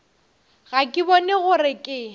ga ke bone gore ke